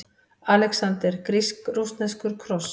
ALEXANDER: Grísk-rússneskur kross!